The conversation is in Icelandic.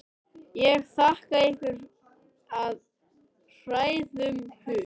Ég þakka ykkur af hrærðum hug.